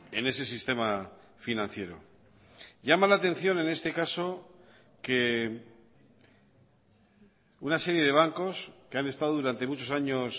en ese sistema financiero llama la atención en este caso que una serie de bancos que han estado durante muchos años